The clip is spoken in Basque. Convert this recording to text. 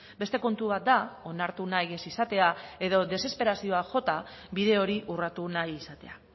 beste kontu bat da onartu nahi ez izatea edo desesperazioak jota bide hori urratu nahi izatea